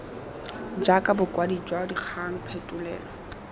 jaaka bokwadi jwa dikgang phetolelo